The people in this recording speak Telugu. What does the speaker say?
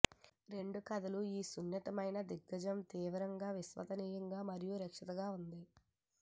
రెండు కథలు ఈ సున్నితమైన దిగ్గజం తీవ్రంగా విశ్వసనీయ మరియు రక్షిత ఉంది